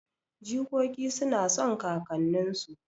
Jikoki suna son kakanninsu